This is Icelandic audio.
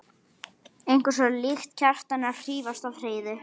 Eitthvað svo líkt Kjartani að hrífast af Heiðu.